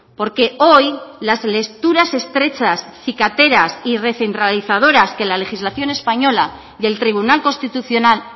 porque hoy las lecturas estrechas cicateras y recentralizadoras que la legislación española y el tribunal constitucional